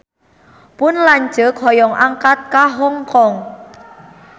Pun lanceuk hoyong angkat ka Hong Kong